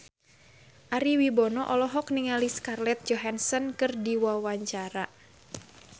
Ari Wibowo olohok ningali Scarlett Johansson keur diwawancara